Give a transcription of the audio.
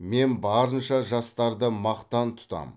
мен барынша жастарды мақтан тұтам